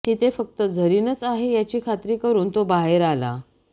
तिथे फक्त झरीनच आहे याची खात्री करून तो बाहेर आला